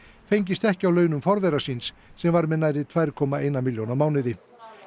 fengist ekki á launum forvera síns sem var með nærri tvær komma eina milljón á mánuði